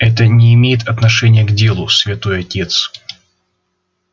это не имеет отношения к делу святой отец